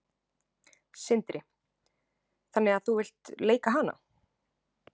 Sindri: Þannig að þú vilt leika hana?